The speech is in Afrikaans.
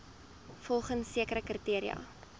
volgens sekere kriteria